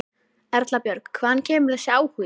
Erla Björg: Hvaðan kemur þessi áhugi?